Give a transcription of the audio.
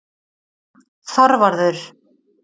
Þorvarður